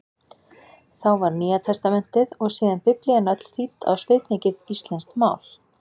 Þá var Nýjatestamentið, og síðan Biblían öll þýdd á svipmikið íslenskt mál.